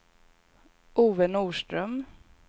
Ove Norström